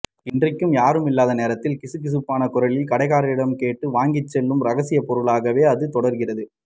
இன்றைக்கும் யாருமில்லாத நேரத்தில் கிசுகிசுப்பான குரலில் கடைக்காரரிடம் கேட்டு வாங்கிச்செல்லும் ரகசியப்பொருளாகவே அது தொடர்கிறது